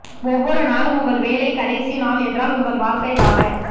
ஒவ்வொரு நாளும் உங்கள் வேலை கடைசி நாள் என்றால் உங்கள் வாழ்க்கை வாழ